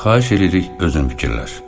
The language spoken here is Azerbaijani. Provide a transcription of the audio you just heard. Xahiş eləyirik özün fikirləş.